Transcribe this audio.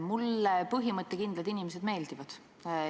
Mulle põhimõttekindlad inimesed meeldivad.